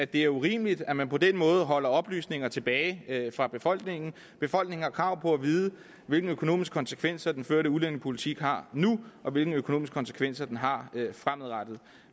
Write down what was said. det er urimeligt at man på den måde holder oplysninger tilbage fra befolkningen befolkningen har krav på at vide hvilke økonomiske konsekvenser den førte udlændingepolitik har nu og hvilke økonomiske konsekvenser den har fremadrettet